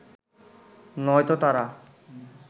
নয়তো তারা